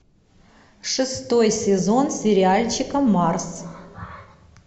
шестой сезон сериальчика марс